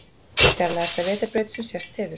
Fjarlægasta vetrarbraut sem sést hefur